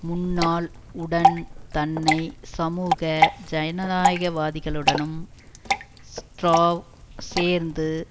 முன்னாள் உடன் தன்னை சமூக ஜனநாயகவாதிகளுடனும் ஸ்ட்ராவ் சேர்ந்து